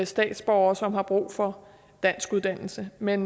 statsborgere som har brug for danskuddannelse men